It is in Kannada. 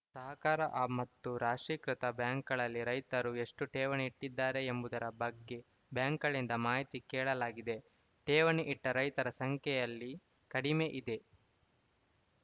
ಸಹಕಾರ ಮತ್ತು ರಾಷ್ಟ್ರೀಕೃತ ಬ್ಯಾಂಕ್‌ಗಳಲ್ಲಿ ರೈತರು ಎಷ್ಟು ಠೇವಣಿ ಇಟ್ಟಿದ್ದಾರೆ ಎಂಬುದರ ಬಗ್ಗೆ ಬ್ಯಾಂಕ್‌ಗಳಿಂದ ಮಾಹಿತಿ ಕೇಳಲಾಗಿದೆ ಠೇವಣಿ ಇಟ್ಟರೈತರ ಸಂಖ್ಯೆಯಲ್ಲಿ ಕಡಿಮೆ ಇದೆ